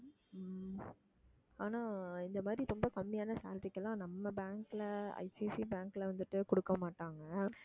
உம் ஆனா இந்த மாதிரி ரொம்ப கம்மியான salary க்கு எல்லாம் நம்ம bank ல ஐசிஐசிஐ பேங்க்ல வந்துட்டு கொடுக்க மாட்டாங்க